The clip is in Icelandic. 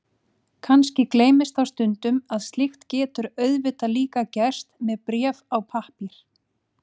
Kannski gleymist þá stundum að slíkt getur auðvitað líka gerst með bréf á pappír.